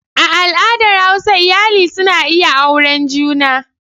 A al'adar hausa iyali suna iya auren juna.